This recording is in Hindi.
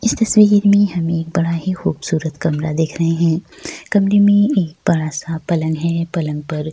इस तस्वीर में हम एक बड़ा ही खूबसूरत कमरा देख रहें हैं। कमरे में एक बड़ा सा पलंग है पलंग पर --